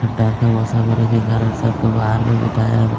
ठंडा का मौसम होने के कारण सबको बाहर में बिठाया हैं।